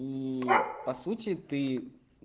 и по сути ты